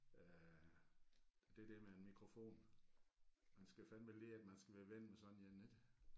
Øh det der med en mikrofon man skal fandeme lige man skal være ven med sådan en ik